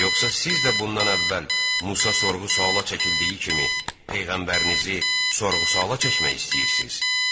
Yoxsa siz də bundan əvvəl Musa sorğu-suala çəkildiyi kimi, peyğəmbərinizi sorğu-suala çəkmək istəyirsiz?